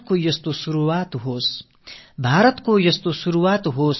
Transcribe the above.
நல்லதொரு தொடக்கம் நமக்கும் கிடைக்கட்டும்